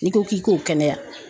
N'i ko k'i k'o kɛnɛya